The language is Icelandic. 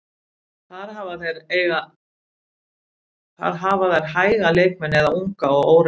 Þar hafa þeir hæga leikmenn eða unga og óreynda.